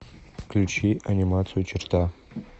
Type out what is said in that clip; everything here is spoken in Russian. включи анимацию черта